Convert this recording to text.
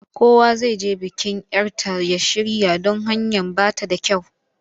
Kowa zai je bikin 'yar ta ya shirya don hanyar ba ta da kyau.